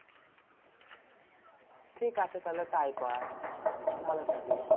ঠিকাছে? তাহলে তাই কর। ভালো থাকিস।